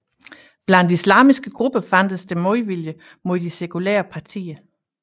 Blandt islamiske grupper fandtes der modvilje mod de sekulære partier